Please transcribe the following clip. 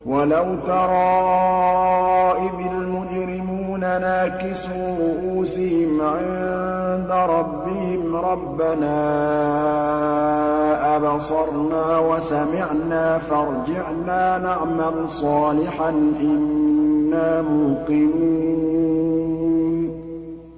وَلَوْ تَرَىٰ إِذِ الْمُجْرِمُونَ نَاكِسُو رُءُوسِهِمْ عِندَ رَبِّهِمْ رَبَّنَا أَبْصَرْنَا وَسَمِعْنَا فَارْجِعْنَا نَعْمَلْ صَالِحًا إِنَّا مُوقِنُونَ